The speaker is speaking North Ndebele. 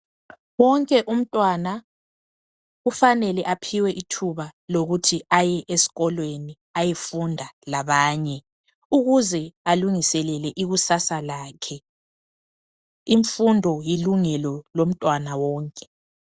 Wonke umntwana kufanele aphiwe ithuba lokuthi aye esikolweni ayefunda labanye. Ukuze alungiselele ikusasa lakhe, imfundo kilungelo lomntwàna wonke.